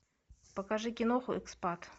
покажи киноху экспат